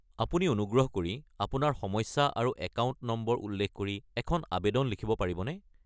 আপুনি অনুগ্ৰহ কৰি আপোনাৰ সমস্যা আৰু একাউণ্ট নম্বৰ উল্লেখ কৰি এখন আৱেদন লিখিব পাৰিবনে?